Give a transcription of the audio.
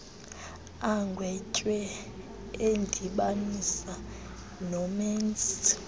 agwetywe edibanisa nomenzi